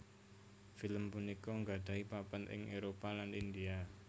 Film punika nggadhahi papan ing Éropah lan India